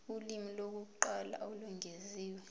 ulimi lokuqala olwengeziwe